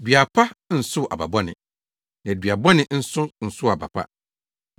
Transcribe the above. “Dua pa nsow aba bɔne, na dua bɔne nso nsow aba pa.